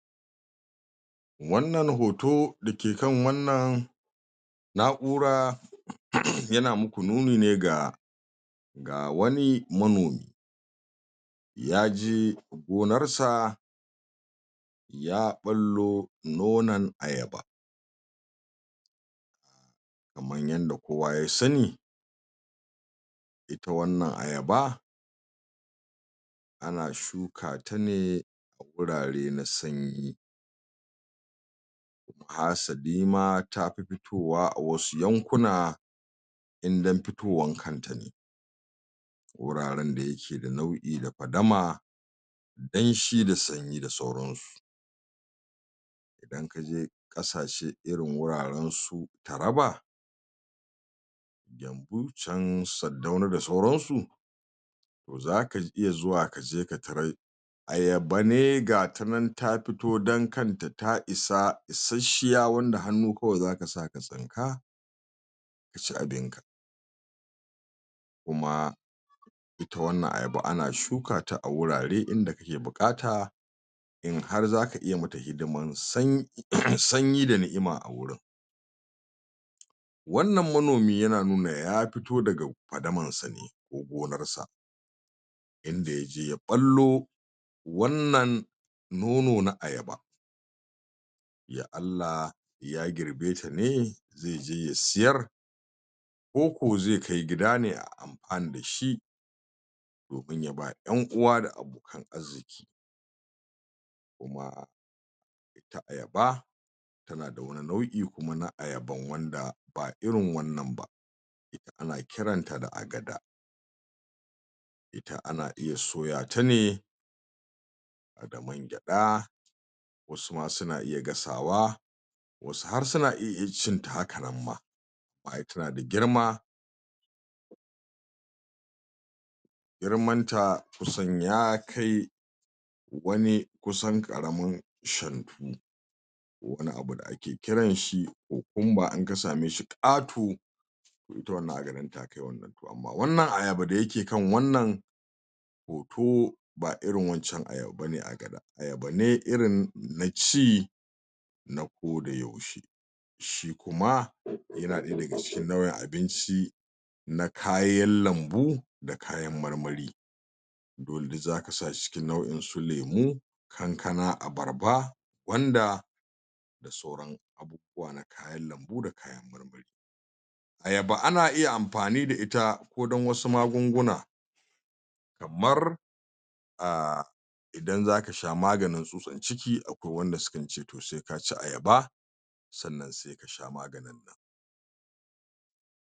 Wannan hoto da ke kan wannan na'ura uuum yana muku nuni ne ga ga wani manomi ya je gonar sa ya ballo nonan ayaba kamar yadda kowa ya sani ita wannan ayaba ana shukata ne gurare na sanyi asalima tafi fitowa a wasu yankuna naa in dan fitowar kanta ne wuraren da yake da nau'i na fadama danshi da sanyi da sauransu in ka je kasashe irin wurare irin su taraba can sardauna da sauran su za ka iya zuwa ka je ka tarar ayaba ne gata nan ta fito dan kanta ta isa isashshiya wanda hannu kawai za ka sa ka tsinka ka ci abinka kuma ita wannan ayaba ana shukata a wurare in da take bukata in har za ka iya yimata hidiman san uuuu sanyi da ni'ima wannan manomi yana nuna ya fito daga fadamar sa ne ko gonan sa inda ya je ya ballo wannan nono na ayaba ya Allah ya girbe ta ne zai je ya sayar koko zai kai gida ne a yi amfani da shi ko ya ba 'yan'uwa da abokan arziki kuma ita ayaba tana da kuma nau'i na ayaban wanda ba irin wannan ba ana kiranta da agada ita ana iya soya ta ne da mangyada wasu ma suna iya gasawa wasu har suna iiya cinta hakanan ma ay tana da girma girmanta kusan ya kai wani kusan karamin shantu da wani abu da ake kiran shi kokumba in ka samai shi kato ita iwannan aga takai wannan to amma wannan ayaban da ya ke kan wannan hoto ba irin wancan ayaba ba ne agada ayaba ne irin na ci na koda yaushe shi kuma yana daga cikin nau'in abinci na kayan lambu da kayan marmari wanda za ka sa shi cikin nau'in su lemu da kayan marmari kankana abarba gwanda da sauran abubuwan lambu ayaba ana iya amfani da ita ko dan wasu magunguna kamar aaaa in za ka sha maganin tsutsan ciki a kwai wadan da sukan ce sai ka ci ayaba sannan sai ka sha maganin